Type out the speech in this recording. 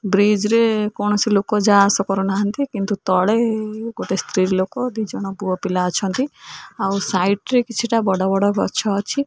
Bridge ରେ କୌଣସି ଲୋକ ଯା ଆସ କରୁନାହାନ୍ତି କିନ୍ତୁ ତଳେ ଗୋଟେ ସ୍ତ୍ରୀ ଲୋକ ଦିଜଣ ପୁଅ ପିଲା ଅଛନ୍ତି ଆଉ ସାଇଡ୍ ରେ କିଛିଟା ବଡ-ବଡ ଗଛ ଅଛି।